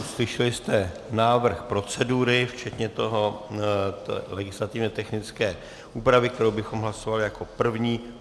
Slyšeli jste návrh procedury včetně té legislativně technické úpravy, kterou bychom hlasovali jako první.